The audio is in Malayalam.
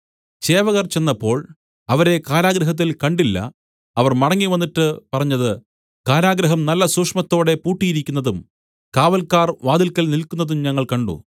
ചേവകർ ചെന്നപ്പോൾ അവരെ കാരാഗൃഹത്തിൽ കണ്ടില്ല അവർ മടങ്ങിവന്നിട്ട് പറഞ്ഞത് കാരാഗൃഹം നല്ല സൂക്ഷ്മത്തോടെ പൂട്ടിയിരിക്കുന്നതും കാവല്ക്കാർ വാതിൽക്കൽ നില്ക്കുന്നതും ഞങ്ങൾ കണ്ട്